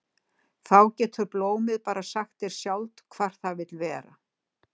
Þá getur blómið bara sagt þér sjálft hvar það vill vera.